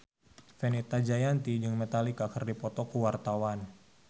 Fenita Jayanti jeung Metallica keur dipoto ku wartawan